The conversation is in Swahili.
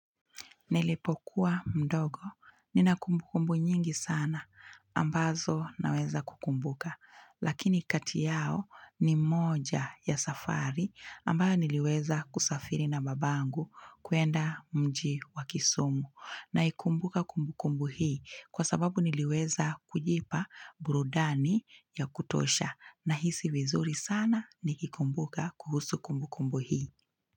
Nilipokuwa mdogo. Nina kumbu kumbu nyingi sana ambazo naweza kukumbuka. Lakini kati yao ni moja ya safari ambayo niliweza kusafiri na babangu kwenda mji wa kisumu. Na ikumbuka kumbu kumbu hii kwa sababu niliweza kujipa burudani ya kutosha na hisi vizuri sana nikikumbuka kuhusu kumbu kumbu hii.